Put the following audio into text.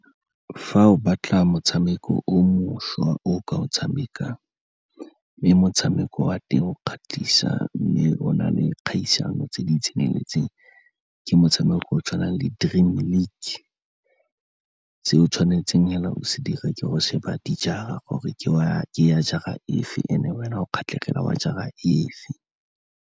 Fa o batla motshameko o mošwa o ka o tshamekang, mme motshameko wa teng o kgatlhisa mme o na le kgaisano tse di tseneletseng, ke motshameko o o tshwanang le Dream League. Se o tshwanetseng fela o se dire ke gore o shebe dijara, gore ke ya jara e fe and-e wena o kgatlhegela wa jara e fe.